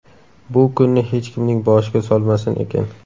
Bu kunni hech kimning boshiga solmasin ekan.